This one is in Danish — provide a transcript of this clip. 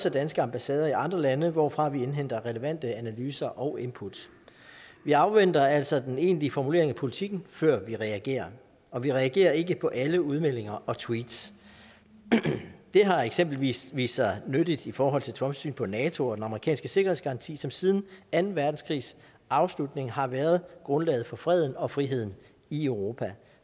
af danske ambassader i andre lande hvorfra vi indhenter relevante analyser og input vi afventer altså den egentlige formulering af politikken før vi reagerer og vi reagerer ikke på alle udmeldinger og tweets det har eksempelvis vist sig nyttigt i forhold til trumps syn på nato og den amerikanske sikkerhedsgaranti som siden anden verdenskrigs afslutning har været grundlaget for freden og friheden i europa